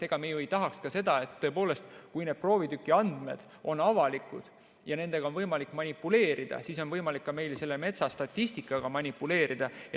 Ega me ju ei tahaks ka seda, et kui need proovitüki andmed on avalikud ja nendega on võimalik manipuleerida, siis on võimalik ka meil selle metsastatistikaga manipuleerida.